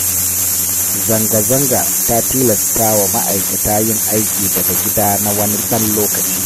Zanga-zanga ta tilastawa ma'aikata yin aiki daga gida na wani ɗan lokaci.